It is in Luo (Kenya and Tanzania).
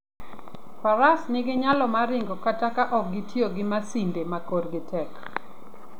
Faras nigi nyalo mar ringo kata ka ok gitiyo gi masinde ma korgi tek.